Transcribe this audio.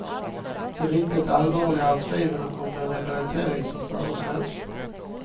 Det riktigt allvarliga är tvivlen om den rehabilitering som föreslås.